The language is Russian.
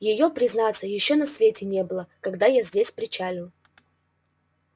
её признаться ещё на свете не было когда я здесь причалил